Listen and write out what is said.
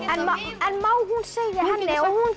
en má hún segja henni og hún